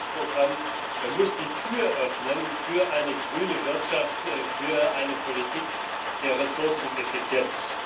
7. Aktionsprogramm muss die Tür öffnen für eine grüne Wirtschaft, für eine Politik der Ressourceneffizienz.